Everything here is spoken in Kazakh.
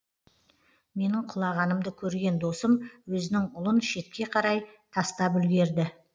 менің құлағанымды көрген досым өзінің ұлын шетке қарай тастап үлгерді